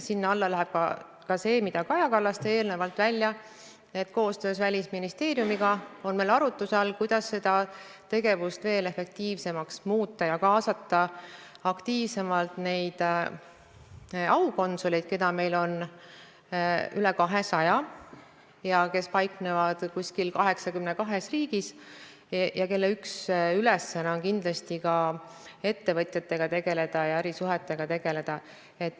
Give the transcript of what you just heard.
Sinna alla läheb ka see, mille Kaja Kallas tõi eelnevalt välja, et koostöös Välisministeeriumiga on meil arutluse all, kuidas seda tegevust veelgi efektiivsemaks muuta ja kaasata aktiivsemalt aukonsuleid, keda on meil üle 200 ja kes paiknevad 82 riigis ja kelle üks ülesanne on kindlasti ka ettevõtjatega tegeleda ja ärisuhetega tegeleda.